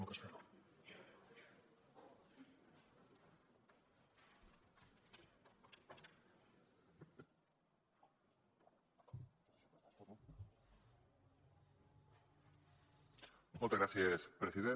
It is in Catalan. moltes gràcies president